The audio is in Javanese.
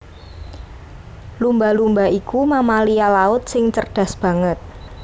Lumba lumba iku mamalia laut sing cerdas banget